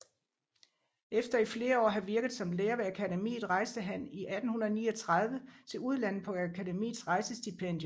Efter i flere år at have virket som lærer ved Akademiet rejste han i 1839 til udlandet på Akademiets rejsestipendium